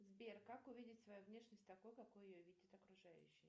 сбер как увидеть свою внешность такой какой ее видят окружающие